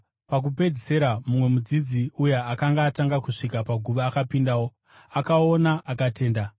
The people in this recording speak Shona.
Pakupedzisira mumwe mudzidzi, uya akanga atanga kusvika paguva akapindawo. Akaona akatenda.